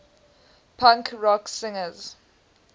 punk rock singers